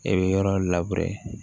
E bɛ yɔrɔ labure